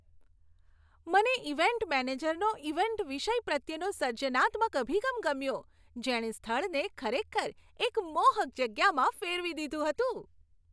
મને ઈવેન્ટ મેનેજરનો ઈવેન્ટ વિષય પ્રત્યેનો સર્જનાત્મક અભિગમ ગમ્યો, જેણે સ્થળને ખરેખર એક મોહક જગ્યામાં ફેરવી દીધું હતું.